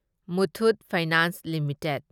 Muthoot finance limited